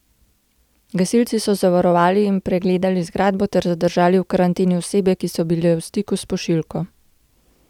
Gasilci so zavarovali in pregledali zgradbo ter zadržali v karanteni osebe, ki so bile v stiku s pošiljko.